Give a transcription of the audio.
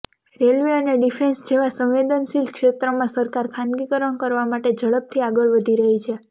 railway અને defence જેવા સંવેદનશીલ ક્ષેત્રમાં સરકાર ખાનગીકરણ કરવા માટે ઝડપથી આગળ વધી રહી છે